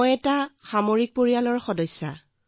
মই মিলিটেৰী পৰিয়ালৰ পৰা আহিছো